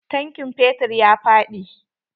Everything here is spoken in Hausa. Tankin fetur ya faɗi.